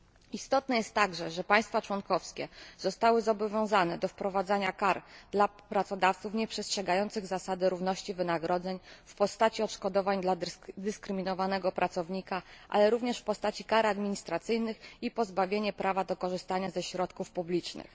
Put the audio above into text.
Istotne jest także, że państwa członkowskie zostały zobowiązane do wprowadzania kar dla pracodawców nieprzestrzegających zasady równości wynagrodzeń w postaci odszkodowań dla dyskryminowanego pracownika, ale również w postaci kar administracyjnych i pozbawienia prawa do korzystania ze środków publicznych.